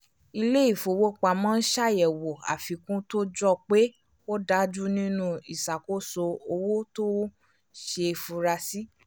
ilé-ìfowópamọ́ n ṣàyẹ̀wò àfikún tó jọ pé ò dájú nínú ìṣàkóso owó tó ṣeé funra sí